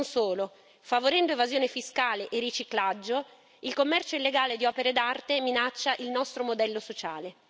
Non solo favorendo evasione fiscale e riciclaggio, il commercio illegale di opere d'arte minaccia il nostro modello sociale.